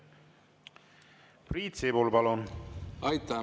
Priit Sibul, palun!